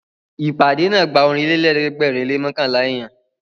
Ìpàdé náà gba Ọ̀rìnlélẹ̀ẹ́dẹ́gbèrin lé mọ́kànlá èèyàn